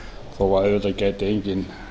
þó að auðvitað gæti enginn